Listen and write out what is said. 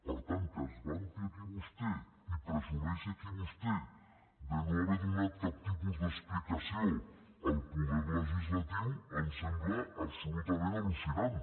per tant que es vanti aquí vostè i presumeixi aquí vostè de no haver donat cap tipus d’explicació al poder legislatiu em sembla absolutament al·lucinant